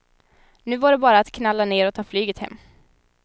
Nu var det bara att knalla ner och ta flyget hem.